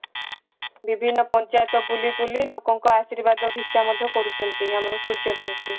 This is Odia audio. ବିଭିନ୍ନ ପଞ୍ଚାଯତ ବୁଲୁ ବୁଲି ଲୋକଙ୍କ ଆଶୀର୍ବାଦ ଭିକ୍ଷା ମଧ୍ୟ କରୁଛନ୍ତି ଆମର ସୂର୍ଯ୍ୟ ବଂଶୀ